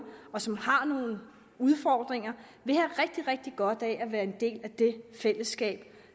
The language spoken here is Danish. som har nogle udfordringer vil have rigtig rigtig godt af at være en del af det fællesskab